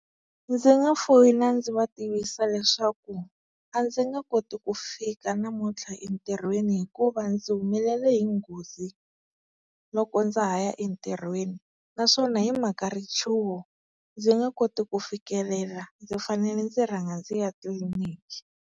Ndzi nga foyina ndzi va tivisa leswaku a ndzi nga koti ku fika namuntlha entirhweni hikuva ndzi humelela hi nghozi loko ndza ha ya entirhweni. Naswona hi mhaka richuho ndzi nge koti ku fikelela ndzi fanele ndzi rhanga ndzi ya tliliniki.